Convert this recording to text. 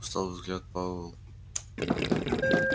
усталый взгляд пауэлл